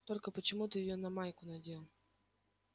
только почему ты её на майку надел